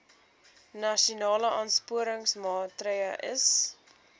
nasionale aansporingsmaatre ls